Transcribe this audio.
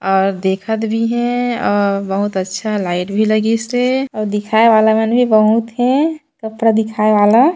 और देखत भी हे और बहुत अच्छा लाईट भी लगिस हेऔउ दिखाए वाला मन भी बहुत हे कपड़ा दिखाए वाला--